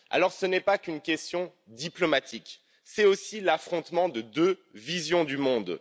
Alors, ce n'est pas qu'une question diplomatique, c'est aussi l'affrontement de deux visions du monde.